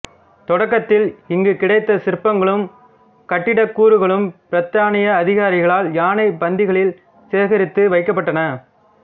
தொடக்கத்தில் இங்கு கிடைத்த சிற்பங்களும் கட்டிடக் கூறுகளும் பிரித்தானிய அதிகாரிகளால் யானைப் பந்திகளில் சேகரித்து வைக்கப்பட்டன